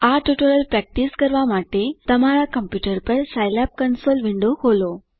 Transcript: આ tutorial practice કરવા માટે તમારા કમ્પ્યુટર પર સાઈલેબ કન્સોલ વિન્ડો ખોલો